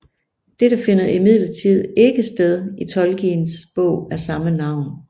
Dette finder imidlertid ikke sted i Tolkiens bog af samme navn